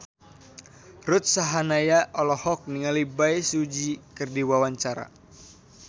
Ruth Sahanaya olohok ningali Bae Su Ji keur diwawancara